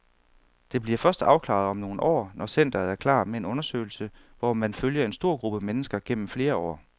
Det bliver først afklaret om nogle år, når centeret er klar med en undersøgelse, hvor man følger en stor gruppe mennesker gennem flere år.